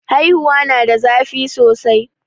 haihuwa na da zafi sosai